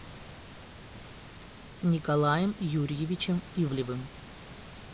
николаем юрьевичем ивлевым